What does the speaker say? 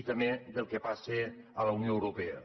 i també al que passa a la unió europea